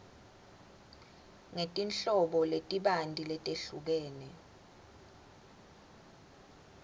ngetinhlobo letibanti letehlukene